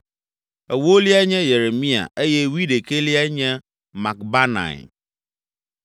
ewoliae nye Yeremia eye wuiɖekɛliae nye Makbanai.